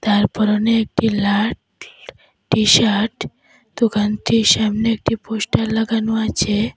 যার পরনে একটি লাট টি-শাট দোকানটির সামনে একটি পোস্টার লাগানো আছে।